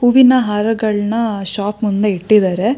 ಹೂವಿನ ಹರಗಳನ್ನ ಶಾಪ್ ಮುಂದೆ ಇಟ್ಟಿದ್ದಾರೆ-